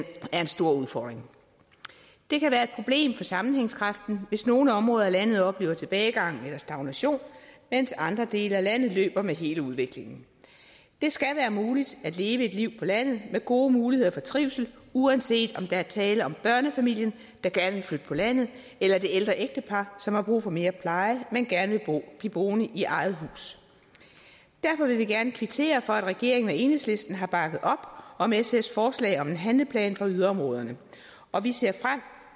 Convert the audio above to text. er en stor udfordring det kan være et problem for sammenhængskraften hvis nogle områder af landet oplever tilbagegang eller stagnation mens andre dele af landet løber med hele udviklingen det skal være muligt at leve et liv på landet med gode muligheder for trivsel uanset om der er tale om børnefamilien der gerne vil flytte på landet eller det ældre ægtepar som har brug for mere pleje men gerne vil blive boende i eget hus derfor vil vi gerne kvittere for at regeringen og enhedslisten har bakket op om sfs forslag om en handleplan for yderområderne og vi ser